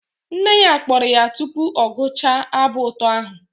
Nne ya kpọrọ ya tupu ọ gụchaa abụ ụtọ ahụ